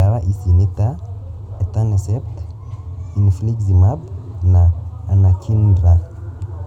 Ndawa ici nĩta etanercept, infliximab, na anakinra